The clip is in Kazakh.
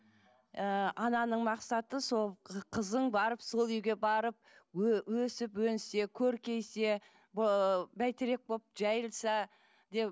ы ананың мақсаты сол қызың барып сол үйге барып өсіп өнсе көркейсе ыыы бәйтерек болып жайылса деп